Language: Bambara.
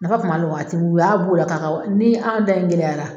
Nafa kuma la o waati u y'a b' o la ka ka ni an ta in gɛlɛyara